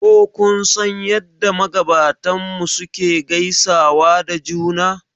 Ko kun san yadda magabatanmu suke gaisawa da juna